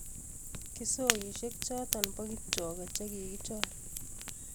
Kisokishek chotok pabkipchoge che kikichor